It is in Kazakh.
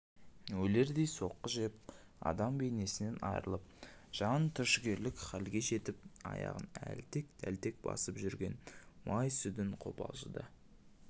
өлердей соққы жеп адам бейнесінен айырылып жан түршігерлік халге жетіп аяғын әлтек-тәлтек басып жүрген май сүдін қобалжыды